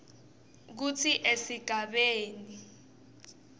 kutsi esigabeni c